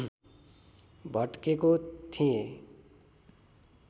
भटकेको थिएँ